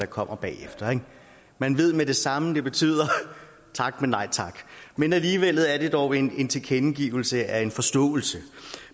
kommer bagefter ikke man ved med det samme at det betyder tak men nej tak men alligevel er det dog en tilkendegivelse af en forståelse